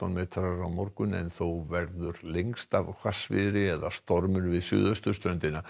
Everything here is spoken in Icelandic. á morgun en þó verður lengst af hvassviðri eða stormur við suðausturströndina